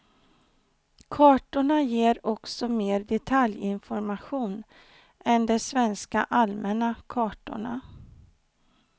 Kartorna ger också mer detaljinformation än de svenska allmänna kartorna.